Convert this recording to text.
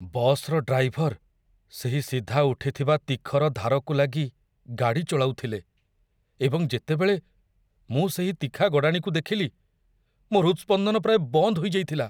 ବସ୍‌ର ଡ୍ରାଇଭର ସେହି ସିଧା ଉଠିଥିବା ତିଖର ଧାରକୁ ଲାଗି ଗାଡ଼ି ଚଳାଉଥିଲେ, ଏବଂ ଯେତେବେଳେ ମୁଁ ସେହି ତିଖା ଗଡ଼ାଣିକୁ ଦେଖିଲି, ମୋ ହୃତ୍‌ସ୍ପନ୍ଦନ ପ୍ରାୟ ବନ୍ଦ ହୋଇଯାଇଥିଲା।